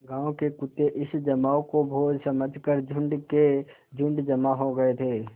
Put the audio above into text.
गाँव के कुत्ते इस जमाव को भोज समझ कर झुंड के झुंड जमा हो गये थे